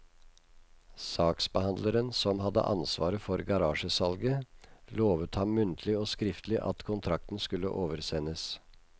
Saksbehandleren, som hadde ansvaret for garasjesalget, lovet ham muntlig og skriftlig at kontrakten skulle oversendes.